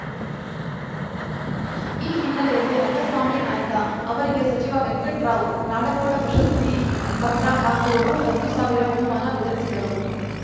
ಈ ಹಿನ್ನೆಲೆಯಲ್ಲಿ ರಂಗಸ್ವಾಮಿ ನಾಯ್ಕ ಅವರಿಗೆ ಸಚಿವ ವೆಂಕಟ್ ರಾವ್‌ ನಾಡಗೌಡ ಪ್ರಶಸ್ತಿ ಪತ್ರ ಹಾಗೂ ರು ಹತ್ತು ಸಾವಿರ ಬಹುಮಾನ ವಿತರಿಸಿದರು